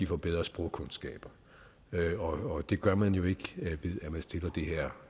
får bedre sprogkundskaber og det gør man jo ikke ved